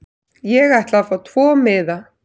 Ég ætla að fá tvo miða.